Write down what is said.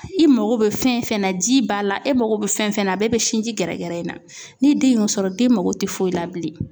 I mago bɛ fɛn fɛn na ji b'a la e mago bɛ fɛn fɛn na a bɛɛ bɛ sinji gɛrɛgɛrɛ in na. Ni den y'o sɔrɔ den mago tɛ foyi la bilen.